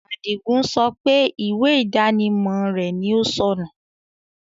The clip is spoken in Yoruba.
Adígun sọ pé ìwé ìdánimọ̀ rẹ̀ ni ó sọ́nù